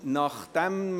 2019.RRGR.43